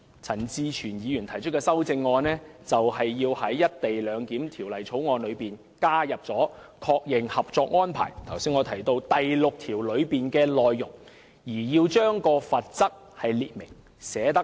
陳志全議員提出有關修正案，就是要在《條例草案》確認《合作安排》第六條的內容，並清楚列明罰則。